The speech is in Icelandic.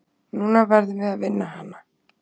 Núna verðum við að vinna hana.